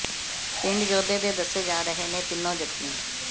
ਪਿੰਡ ਯੋਧੇ ਦੇ ਦੱਸੇ ਜਾ ਰਹੇ ਨੇ ਤਿੰਨੋ ਜ਼ਖਮੀ